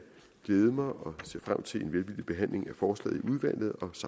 glæde mig og se frem til en velvillig behandling af forslaget i udvalget